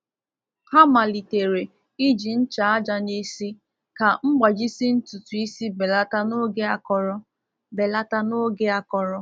Ha malitere iji ncha aja n'isi ka mgbajisi ntutu isi belata n’oge akọrọ. belata n’oge akọrọ.